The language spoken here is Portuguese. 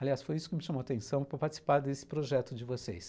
Aliás, foi isso que me chamou a atenção para participar desse projeto de vocês.